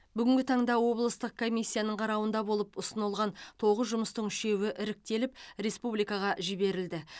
бүгінгі таңда облыстық комиссияның қарауында болып ұсынылған тоғыз жұмыстың үшеуі іріктеліп республикаға жіберілді